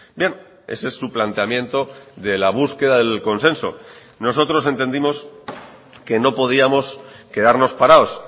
bien ese es su planteamiento de la búsqueda delconsenso nosotros entendimos que no podíamos quedarnos parados